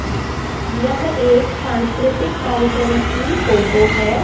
यह एक सांस्कृतिक कार्यक्रम की फोटो है।